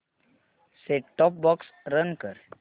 set top box run कर